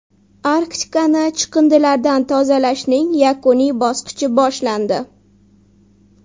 Arktikani chiqindilardan tozalashning yakuniy bosqichi boshlandi.